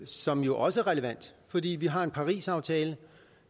som jo også er relevant fordi vi har en parisaftale